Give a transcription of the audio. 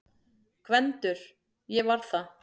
GVENDUR: Ég var það!